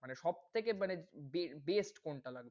মানে সব সবথেকে মানে বে~ best কোনটা লাগে?